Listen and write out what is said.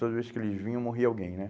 Toda vez que eles vinham, morria alguém, né?